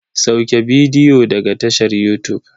Sauke bidiyo daga tashar yutub.